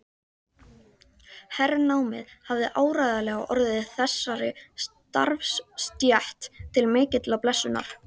Hernámið hafði áreiðanlega orðið þessari starfsstétt til mikillar blessunar.